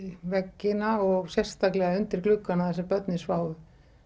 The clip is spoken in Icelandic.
veggina og sérstaklega undir gluggana þar sem börnin sváfu